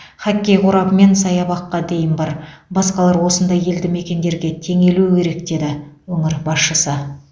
хоккей қорабы мен саябаққа дейін бар басқалар осындай елді мекендерге теңелуі керек деді өңір басшысы